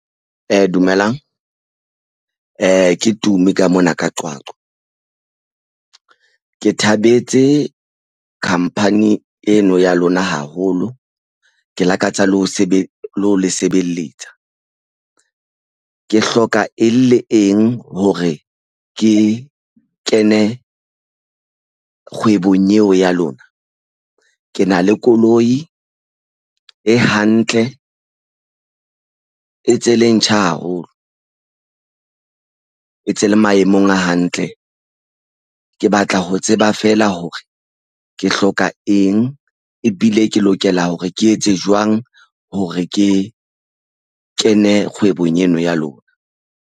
Dumelang. Ke Tumi ka mona ka Qwaqwa. Ke thabetse khampani eno ya lona haholo. Ke lakatsa le ho le ho le sebeletsa. Ke hloka eng le eng hore ke kene kgwebong eo ya lona? Ke na le koloi e hantle, e tse le ntjha haholo, e ntse le maemong a hantle. Ke batla ho tseba feela hore ke hloka eng ebile ke lokela hore ke etse jwang hore ke kene kgwebong eno ya lona.